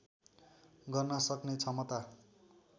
गर्न सक्ने क्षमता